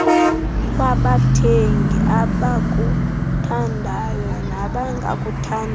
kwabathengi abakuthandayo nabangakuthandiyo